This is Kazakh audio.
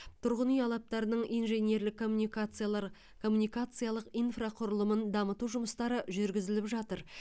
тұрғын үй алаптарының инженерлік коммуникациялар коммуникациялық инфрақұрылымын дамыту жұмыстары жүргізіліп жатыр